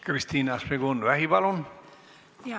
Kristina Šmigun-Vähi, palun!